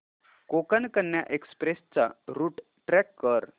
Konkan Kanya express चा route track कर